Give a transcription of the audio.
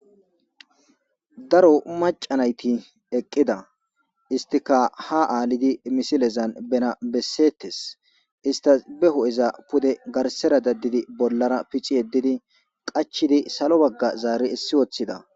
Daro macanayti eqqida istika ha aalidi misilezan benabessetes istas be ho7eza pude garsera daddidi bollara picci yeddidi qachidi salo bagga zaari issi woththida.